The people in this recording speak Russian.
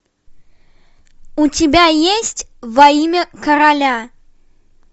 у тебя есть во имя короля